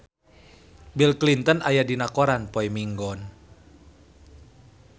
Bill Clinton aya dina koran poe Minggon